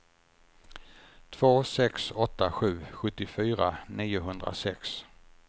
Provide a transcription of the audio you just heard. två sex åtta sju sjuttiofyra niohundrasex